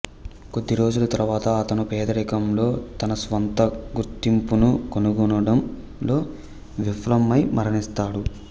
కొద్దిరోజుల తరువాత అతను పేదరికంలో తన స్వంత గుర్తింపును కనుగొనడంలో విఫలమై మరణిస్తాడు